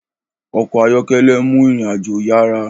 ọkọ̀ ayọ́kẹ́lẹ́ nmú ìrìn àjò yará